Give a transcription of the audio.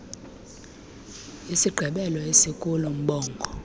isigqebelo esikulo mbongo